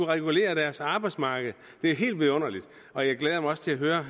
regulere deres arbejdsmarked det er helt vidunderligt og jeg glæder mig også til at høre